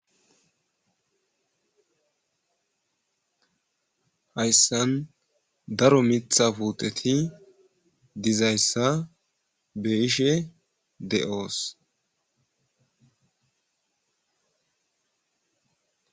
Haysan daro mitha puteti dizaysa beyishe de'os